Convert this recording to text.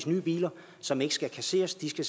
nye biler som ikke skal kasseres de skal